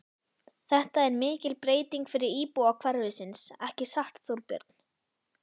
Þetta er mikil breyting fyrir íbúa hverfisins, ekki satt, Þorbjörn?